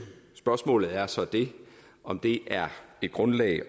spørgsmålet er så om det er et grundlag